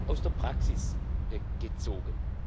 aus der Praxis gezogen.